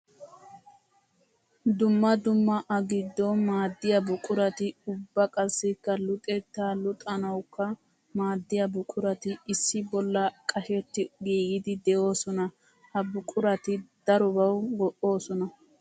Dumma dumma a giddon maadiya buquratti ubba qassikka luxetta luxanawukka maadiya buquratti issi bolla qashetti giigidi de'osona. Ha buquratti darobawu go'osoona.